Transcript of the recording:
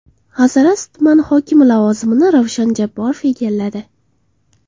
Hazorasp tuman hokimi lavozimini Ravshan Jabborov egalladi.